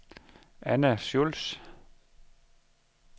Anna Schultz